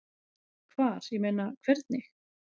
Hvar, ég meina. hvernig?